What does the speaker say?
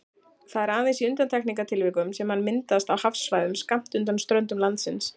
Það er aðeins í undantekningartilvikum sem hann myndast á hafsvæðum skammt undan ströndum landsins.